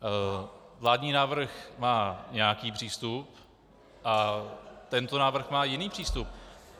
Vládní návrh má nějaký přístup a tento návrh má jiný přístup.